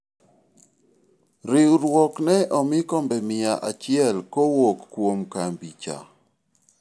riwruok ne omi kombe mia achiel kowuok kuom kambi cha